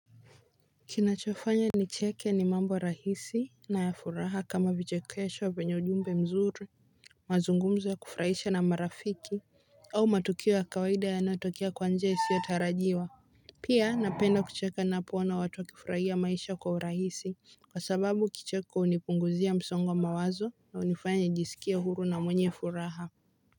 Kinachofanya ni cheke ni mambo rahisi na ya furaha kama vichekesho vyenye ujumbe mzuri. Mazungumzo ya kufurahisha na marafiki au matukio ya kawaida yanayotokea kwa njia isiyotarajiwa. Pia napenda kucheka ninapoona watu wakifurahia maisha kwa urahisi. Kwa sababu kicheko hunipunguzia msongo wa mawazo na hunifanya nijisikie huru na mwenye furaha.